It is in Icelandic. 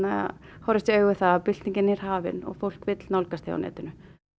horfast í augu við það að byltingin er hafin fólk vill nálgast þig á netinu